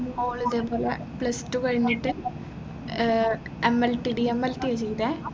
all ഇതേപോലെ plus two കഴിഞ്ഞിട്ട് ഏർ MLTDMLT എഴുതിയതേ